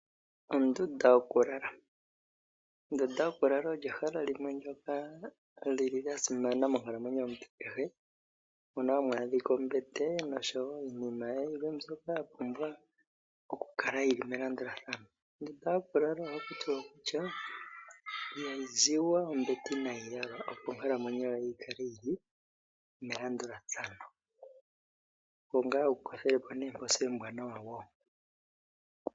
Ondunda yokulala, ondunda yokulala oyo ehala limwe lyoka lyili lyasimana monkalamwenyo yomuntu kehe, mono hamu adhika ombete nosho woo iinima yilwe mbyoka ya pumbwa oku kala melandulathano. Ondunda yokulala ohaku tiwa ihayi ziwa ombete inaayi yalwa, opo yikale yili melandulathano opo ngaa wukothe po nooposi oombwaanawa woo.